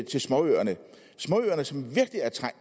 småøerne